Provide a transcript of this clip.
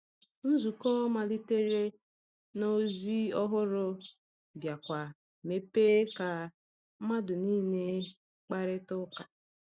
Nzukọ malitere na ozi ọhụrụ, biakwa mepee ka mmadụ niile kparịta ụka.